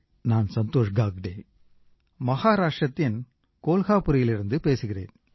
நான் சந்தோஷ் காக்டே மகாராஷ்ட்ரத்தின் கோலாபுரிலிருந்து பேசுகிறேன்